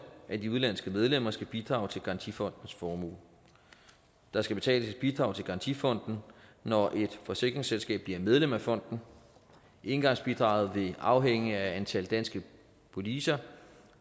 at de udenlandske medlemmer skal bidrage til garantifondens formue der skal betales et bidrag til garantifonden når et forsikringsselskab bliver medlem af fonden engangsbidraget vil afhænge af antal danske policer